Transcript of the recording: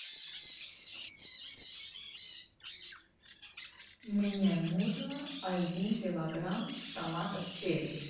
мне нужно один килограмм томатов черри